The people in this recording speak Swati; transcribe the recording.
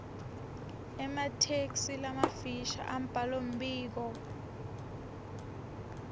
ematheksthi lamafisha embhalombiko